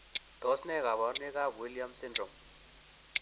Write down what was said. Tos nee koborunoikab Williams syndrome?